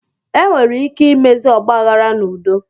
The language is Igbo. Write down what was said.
Enwere ike imezi ọgbaaghara n'udo.